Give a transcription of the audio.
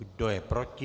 Kdo je proti?